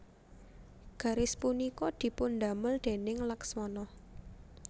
Garis punika dipun damel déning Laksmana